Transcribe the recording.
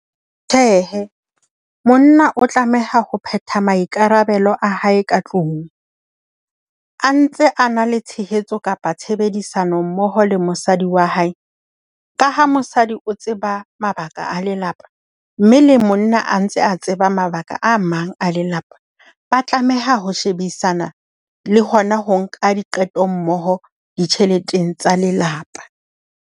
Tjhehe, monna o tlameha ho phetha maikarabelo a hae ka tlung. A ntse a na le tshehetso kapa tshebedisanommoho le mosadi wa hae. Ka ha mosadi o tseba mabaka a lelapa, mme le monna a ntse a tseba mabaka a mang a lelapa. Ba tlameha ho shebisana le hona ho nka diqeto mmoho ditjheleteng tsa lelapa.